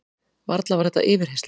Varla var þetta yfirheyrsla?